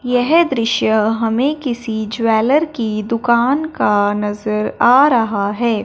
यह दृश्य हमें किसी ज्वैलर की दुकान का नजर आ रहा है।